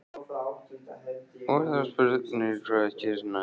Og þá er spurningin, hvað gerist næst?